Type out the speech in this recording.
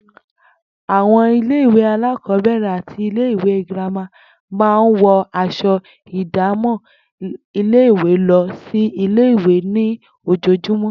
Àwo̩n ilé ìwé alákò̩ó̩bè̩rè̩ àti ilé ìwé girama máa ń wo̩ as̩o̩ ìdámò̩ ilé-ìwé lo̩ sí ilé-ìwé ní ojoojúmó̩